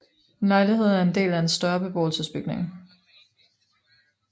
En lejlighed er en del af en større beboelsesbygning